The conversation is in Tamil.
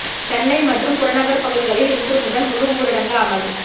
சென்னை மற்றும் புறநகர் பகுதிகளில் இன்று முதல் முழு ஊரடங்கு அமல்